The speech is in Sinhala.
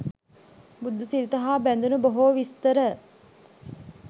බුදුසිරිත හා බැඳුණු බොහෝ විස්තර